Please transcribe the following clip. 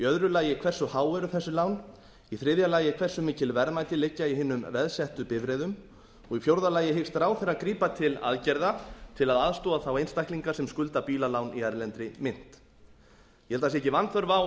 að veði annars hversu há eru þessi lán þriðja hversu mikil verðmæti liggja í hinum veðsettu bifreiðum fjórða hyggst ráðherra grípa til aðgerða til að aðstoða þá einstaklinga sem skulda bílalán í erlendri mynt ég ber að það sé ekki vanþörf á